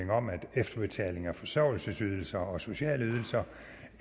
efterbetaling af forsørgelsesydelser og sociale ydelser